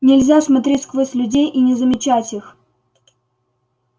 нельзя смотреть сквозь людей и не замечать их